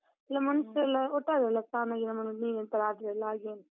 ಒಟ್ಟಾರೆ ಅಲಾ, ಸ್ನಾನ ಗೀನ ಮಾಡುದ್ ನೀರಲ್ಲಿ ಎಂತಾದ್ರೆ ಹಾಗೆ ಉಂಟು.